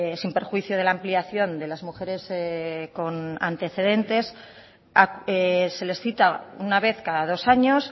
sin perjuicio de la ampliación de las mujeres con antecedentes se les cita una vez cada dos años